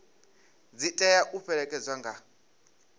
dzi tea u fhelekedzwa nga